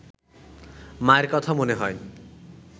মায়ের কথা মনে হয়